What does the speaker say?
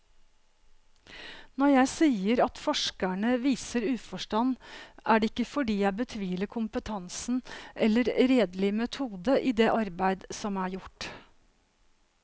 Når jeg sier at forskerne viser uforstand, er det ikke fordi jeg betviler kompetansen eller redelig metode i det arbeid som er gjort.